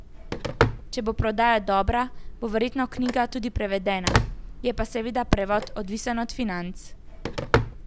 Če bo prodaja dobra, bo verjetno knjiga tudi prevedena, je pa seveda prevod odvisen od financ.